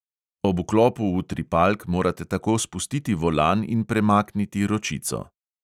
Ob vklopu utripalk morate tako spustiti volan in premakniti ročico.